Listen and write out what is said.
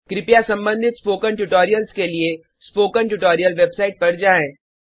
कृपया संबंधित spoken tutorials के लिए स्पोकन ट्यूटोरियल वेबसाइट पर जाएँ